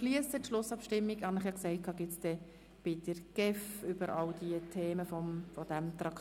Die Schlussabstimmung über alle Themen dieses Traktandums findet später bei den Geschäften der GEF statt.